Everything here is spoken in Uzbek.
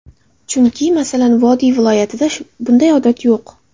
Chunki, masalan, vodiy viloyatlarida bunday odat yo‘q.